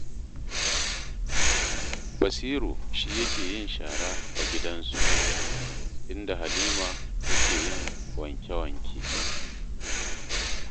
Basiru shi yake yin shara a gidansu, inda Halima take yin wanke-wanke